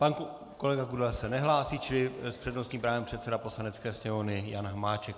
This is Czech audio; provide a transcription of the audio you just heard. Pan kolega Kudela se nehlásí, čili s přednostním právem předseda Poslanecké sněmovny Jan Hamáček.